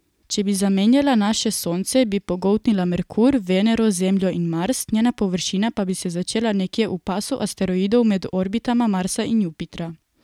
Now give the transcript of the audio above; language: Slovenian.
Če bi zamenjala naše Sonce, bi pogoltnila Merkur, Venero, Zemljo in Mars, njena površina pa bi se začela nekje v pasu asteroidov med orbitama Marsa in Jupitra.